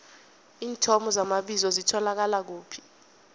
iinthomo zamabizo zitholakala kuphi